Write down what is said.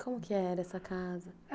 Como que era essa casa?